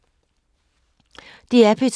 DR P2